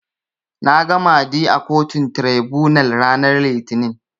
Nags Mahdi a kotun Tiraibunal ranar Litinin.